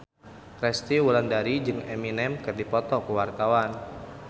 Resty Wulandari jeung Eminem keur dipoto ku wartawan